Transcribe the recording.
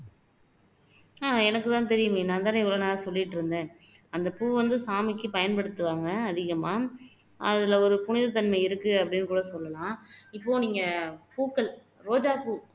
எனக்கு தான் தெரியுமே நான் தானே இவ்ளோ நேரம் சொல்லிட்டு இருந்தேன் அந்த பூவை வந்து சாமிக்கு பயன்படுத்துவாங்க அதிகமா அதுல ஒரு புனிதத்தன்மை இருக்கு அப்படின்னு கூட சொல்லலாம் இப்போ நீங்க பூக்கள் ரோஜாப்பூ